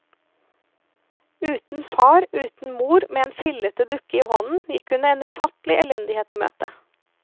Uten far, uten mor, med en fillete dukke i hånden, gikk hun en ufattelig elendighet i møte.